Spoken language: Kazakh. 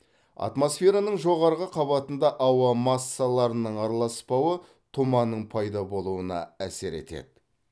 атмосфераның жоғарғы қабатында ауа массаларының араласпауы тұманның пайда болуына әсер етеді